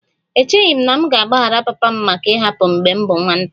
Echeghị m na m ga-agbaghara papa m maka ịhapụ m mgbe m bụ nwata